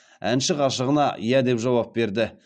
әнші ғашығына иә деп жауап берді